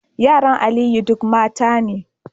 Yaran Aliyu duk mata ne